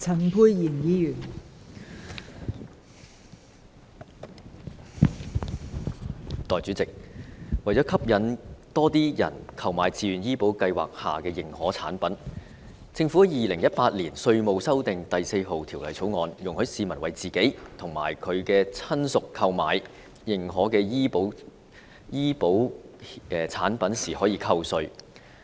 代理主席，為了吸引更多人購買自願醫保計劃下的認可產品，《2018年稅務條例草案》容許市民為自己和親屬購買認可的醫保產品時扣稅。